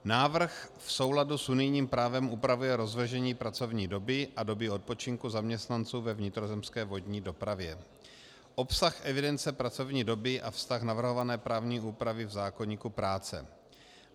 Návrh v souladu s unijním právem upravuje rozvržení pracovní doby a doby odpočinku zaměstnanců ve vnitrozemské vodní dopravě, obsah evidence pracovní doby a vztah navrhované právní úpravy v zákoníku práce.